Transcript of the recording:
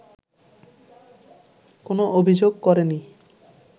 কোন অভিযোগ করেনি